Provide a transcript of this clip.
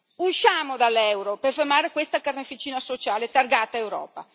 Usciamo dall'euro per fermare questa carneficina sociale targata Europa.